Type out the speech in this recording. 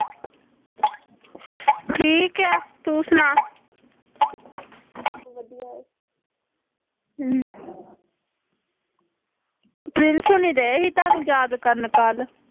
ਠੀਕ ਐ ਤੂੰ ਸੁਣਾ ਪ੍ਰਿੰਸ ਹੋਣੀ ਡਏ ਸੀ ਥੋਨੁ ਯਾਦ ਕਰਨ ਕੱਲ